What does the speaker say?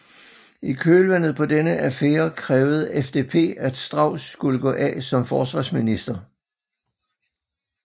I kølvandet på denne affære krævede FDP at Strauß skulle gå af som forsvarsminister